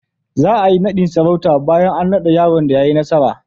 Za a yi naɗin sarauta bayan an naɗa yaron da ya yi nasara.